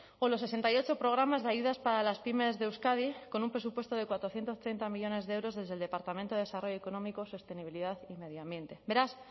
o los sesenta y ocho programas de ayudas para las pymes de euskadi con un presupuesto de cuatrocientos treinta millónes de euros desde el departamento de desarrollo económico sostenibilidad y medio ambiente beraz